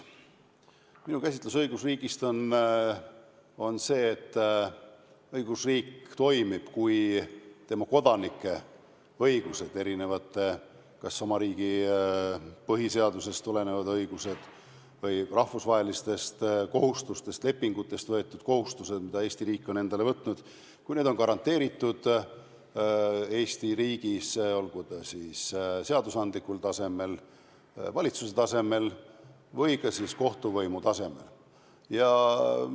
Minu käsitlus õigusriigist on see, et õigusriik toimib, kui tema kodanike õigused, kas oma riigi põhiseadusest tulenevad õigused või rahvusvahelistest kohustustest ja lepingutest tulenevad kohustused, mida Eesti riik on endale võtnud, on garanteeritud Eesti riigis, olgu siis seadusandlikul tasemel, valitsuse tasemel või ka kohtuvõimu tasemel.